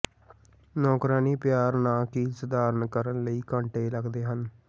ਨੌਕਰਾਣੀ ਪਿਆਰ ਨਾ ਕਿ ਸਧਾਰਨ ਕਰਨ ਲਈ ਘੰਟੇ ਲੱਗਦੇ ਹਨ